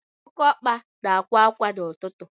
Oké ọkpa na-akwa ákwá n'ụtụtụ